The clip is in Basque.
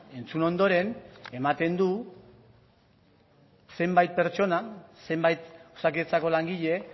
entzun ondoren ematen du zenbait pertsona zenbait osakidetzako langile